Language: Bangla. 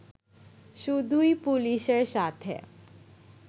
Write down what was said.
শুধুই পুলিশের সাথে